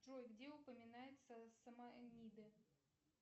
джой где упоминается сама эмида